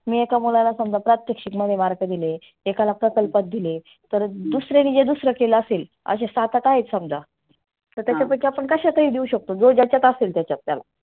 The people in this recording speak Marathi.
मी एका मुलाला समजा प्रात्यक्षीक मध्ये mark दिले, एकाला प्रकल्पात दिले तर दुसऱ्याने जे दुसरं केलं असेल असे सात आठ आहे समजा तर त्याच्या पैकी कशातही देऊ शकतो. जो ज्याच्यात असेल त्याला.